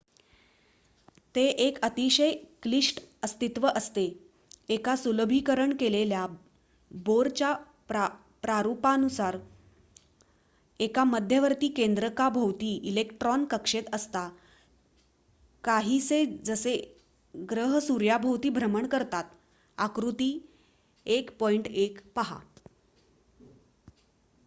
ते एक अतिशय क्लिष्ट अस्तित्व असते एका सुलभीकरण केलेल्या बोरच्या प्रारुपानुसार एका मध्यवर्ती केंद्रका भोवती इलेक्ट्रॉन कक्षेत असता काहीसे जसे ग्रह सूर्याभोवती भ्रमण करतात.आकृती 1.1 पहा